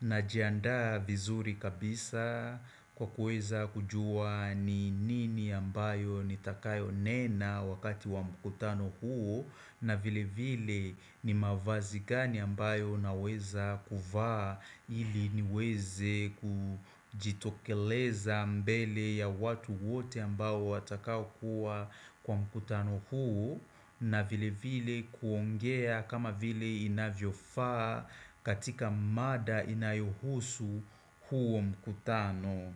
na jiandaa vizuri kabisa kwa kuweza kujuwa ni nini ambayo nitakayo nena wakati wa mkutano huo na vile vile ni mavazi gani ambayo naweza kuvaa ili niweze kujitokeleza mbele ya watu wote ambao watakao kuwa kwa mkutano huo na vile vile kuongea kama vile inavyo faa katika mada inayohusu huo mkutano.